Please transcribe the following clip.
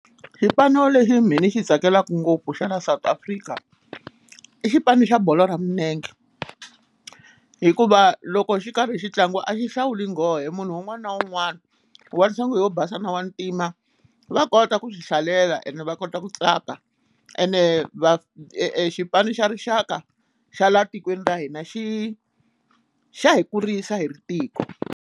Xipano lexi mhe ni xi tsakelaka ngopfu xa la South Africa i xipano xa bolo ra milenge hikuva loko xi karhi xi ntlanga a xi hlawuli nghohe munhu un'wana na un'wana wa nhlonge yo basa na wa ntima va kota ku swi hlalela ene va kota ku tsaka ene va i xipano xa rixaka xa la tikweni ra hina xi xa hi kurisa hi ri tiko.